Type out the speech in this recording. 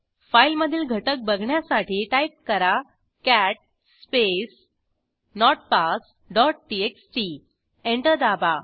फाईलमधील घटक बघण्यासाठी टाईप करा कॅट स्पेस notpassटीएक्सटी एंटर दाबा